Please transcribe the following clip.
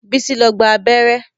Bísí lọ gba abẹ́rẹ́